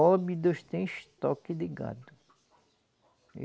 Óbidos tem estoque de gado.